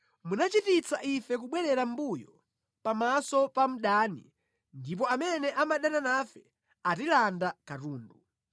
Munachititsa ife kubwerera mʼmbuyo pamaso pa mdani ndipo amene amadana nafe atilanda katundu.